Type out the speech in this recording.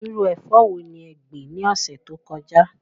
Irú ẹ̀fọ́ wo ni ẹ gbìn ní ọ̀sẹ̀ tó kọjá?